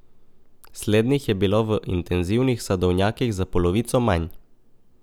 Slednjih je bilo v intenzivnih sadovnjakih za polovico manj.